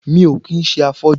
Mi ò kí ń ṣe afọ́jú